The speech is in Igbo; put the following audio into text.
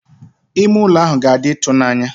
Ime ụlọ ahụ ga-adị ịtụnanya.